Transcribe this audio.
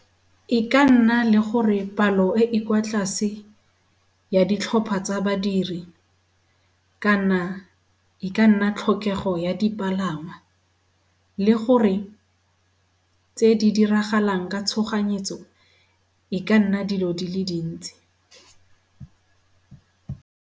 E ka nna le gore palo e e kwa tlase ya ditlhopha tsa badiri kana e ka nna tlhokego ya dipalangwa le gore tse di diragalang ka tshoganyetso e ka nna dilo di le dintsi.